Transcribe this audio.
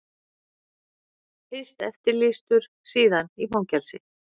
Fyrst eftirlýstur, síðan í fangelsi.